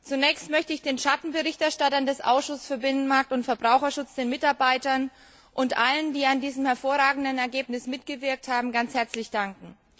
Zunächst möchte ich den Schattenberichterstattern des Ausschusses für Binnenmarkt und Verbraucherschutz, den Mitarbeitern und allen, die an diesem hervorragenden Ergebnis mitgewirkt haben, ganz herzlich danken.